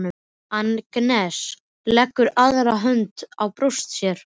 Agnes leggur aðra hönd á brjóst sér.